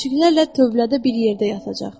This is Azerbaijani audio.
Kiçiklərlə tövlədə bir yerdə yatacaq.